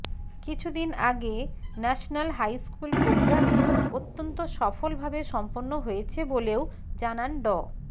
কিছুদিন আগে national high school programming অত্যন্ত সফলভাবে সম্পন্ন হয়েছে বলেও জানান ড